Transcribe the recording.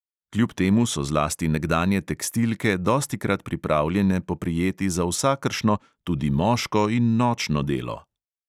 Kljub temu so zlasti nekdanje tekstilke dostikrat pripravljene poprijeti za vsakršno, tudi moško in nočno delo.